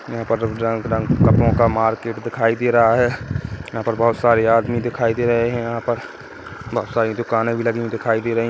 यहाँ पर रंग_बिरंग कपड़ो का मार्केट दिखाई दे रहा है यहाँ पर बहुत सारे आदमी दिखाई दे रहे है यहाँ पर बहुत सारी दुकानें भी लगी हुई दिखाई दे रही है।